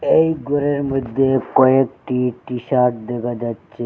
এই ঘরের মইধ্যে কয়েকটি টি_শাট দেকা যাচ্চে।